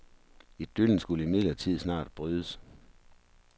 Idyllen skulle imidlertid snart brydes.